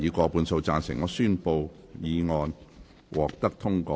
我宣布議案獲得通過。